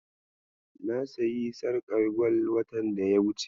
Na sayi sarƙar gwal watan daya wuce.